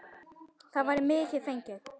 Þá væri mikið fengið.